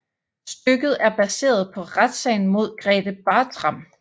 Stykket er baseret på retssagen mod Grethe Bartram